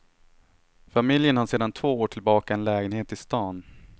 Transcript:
Familjen har sedan två år tillbaka en lägenhet i staden.